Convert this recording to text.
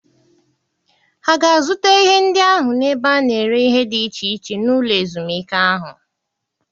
Ha ga-azụta ihe ndị ahụ n'ebe a na-ere ihe dị iche iche n'ụlọ ezumike ahụ?